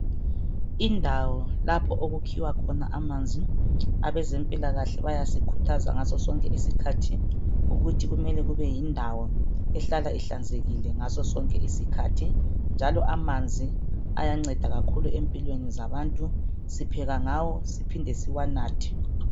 Indawo lapho okukhiwa khona amanzi abezempilakahle bayasikhuthaza ngasosonke isikhathi ukuthi kumele kube yindawo ehlala ehlanzekile ngasosonke isikhathi njalo amanzi ayanceda kakhulu empilweni zabantu sipheka ngawo siphinde siwanathe.